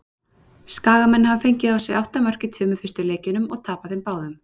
Skagamenn hafa fengið á sig átta mörk í tveimur fyrstu leikjunum og tapað þeim báðum.